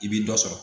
I bi dɔ sɔrɔ